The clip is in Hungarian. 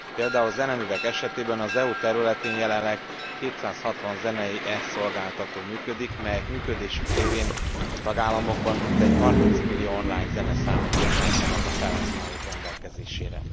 Például zeneművek esetében az EU területén jelenleg 260 zenei e szolgáltató működik, melyek működésük révén a tagállamokban mintegy 30 millió online zeneszámot bocsájtanak a felhasználók rendelkezésére.